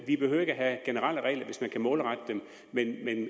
vi behøver ikke at have generelle regler hvis man kan målrette dem men